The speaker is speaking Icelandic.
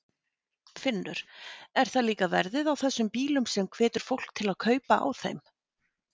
Finnur: Er það líka verðið á þessum bílum sem hvetur fólk til kaupa á þeim?